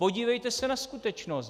Podívejte se na skutečnost.